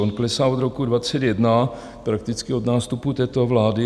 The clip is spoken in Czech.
On klesá od roku 2021, prakticky od nástupu této vlády.